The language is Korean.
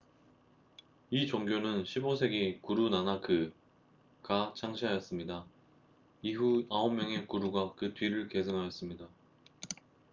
이 종교는 15세기 구루 나나크1469–1539가 창시하였습니다. 이후 9명의 구루가 그 뒤를 계승하였습니다